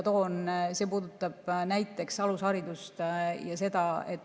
See puudutab alusharidust.